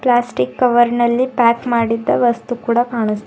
plastic cover ನಲ್ಲಿ pack ಮಾಡಿದ್ದ ವಸ್ತು ಕೂಡ ಕಾಣುಸ್ --